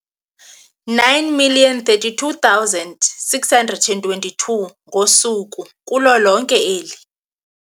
9 032 622 ngosuku kulo lonke eli.